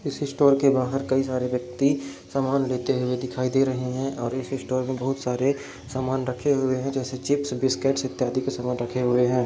इस स्टोर के बाहर कई सारे व्यक्ति सामान लेते हुए दिखाई दे रहे हैं और इस स्टोर मे बोहोत सारे सामान रखे हुए है जैसे चिप्स बिस्किट इत्यादि के सामान रखे हुए है।